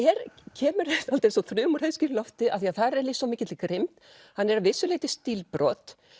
kemur dálítið eins og þruma úr heiðskíru lofti af því þar er lýst svo mikilli grimmd hann er að vissu leyti stílbrot